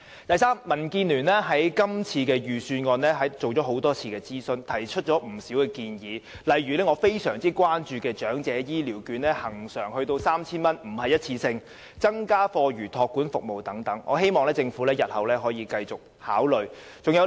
第三，民建聯曾就今年的預算案進行多次諮詢，並提出不少建議，例如我非常關注的長者醫療券將會恆常而非一次性地增至 3,000 元，以及增加課餘託管服務等，我希望政府日後仍會繼續這樣做。